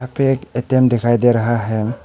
पे एक ए_टी_म दिखाई दे रहा है।